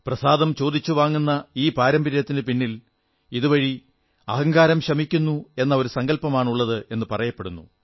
പ്രസാദം ചോദിച്ചു വാങ്ങുന്ന ഈ പാരമ്പര്യത്തിനു പിന്നിൽ ഇതുവഴി അഹങ്കാരം ശമിക്കുന്നു എന്ന ഒരു സങ്കല്പമാണുള്ളതെന്ന് പറയപ്പെടുന്നു